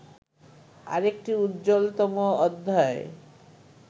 আরেকটি উজ্জ্বলতম অধ্যায়